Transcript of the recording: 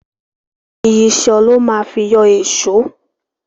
Ìyíṣòó lo má fi yọ èṣó.